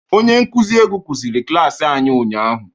Onye nkuzi egwu kụziri klaasị anyị ụnyahụ.